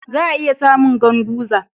Za'a iya samu Ganguza.